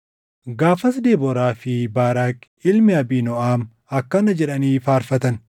Gaafas Debooraa fi Baaraaqi ilmi Abiinooʼam akkana jedhanii faarfatan: